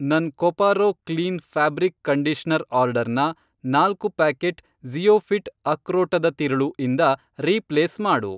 ನನ್ Coparo clean fabric conditioner ಆರ್ಡರ್ನ, ನಾಲ್ಕು ಪ್ಯಾಕೆಟ್ ಜಿ಼ಯೋಫಿ಼ಟ್ ಅಕ್ರೋಟದ ತಿರುಳು ಇಂದ ರೀಪ್ಲೇಸ್ ಮಾಡು.